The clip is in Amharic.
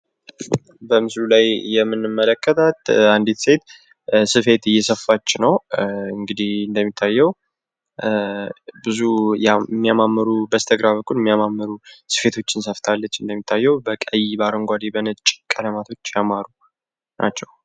በምስሉ ላይ የምንመለከታት አንዲት ሴት ስፌት እየሰፋች ነው። እንግዲ እንደሚታየው ብዙ እሚያማመሩ በስተግራ በኩል ሚያማመሩ ስፌቶችን እንደሚታየው በቀይ አረንጓደ በነጭ ቀለማቶች ያማሩ ናቸው።